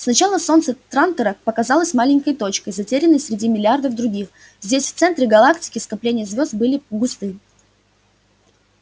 сначала солнце трантора показалось маленькой точкой затерянной среди миллиардов других здесь в центре галактики скопления звёзд были густы